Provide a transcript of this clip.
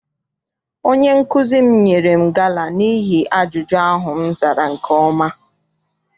Onye nkụzi m nyere m gala n'ihi ajụjụ ahụ m zara nke ọma.